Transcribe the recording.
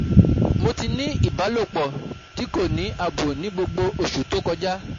Mo ti ni ibalopo ti ko ni abo ni gbogbo osu to koja